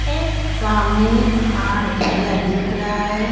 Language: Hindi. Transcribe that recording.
ये सामने पहाड़ एरिया दिख रहा है।